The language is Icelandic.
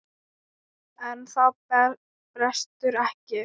En það brestur ekki.